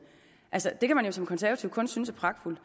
det kan man jo som konservativ kun synes er pragtfuldt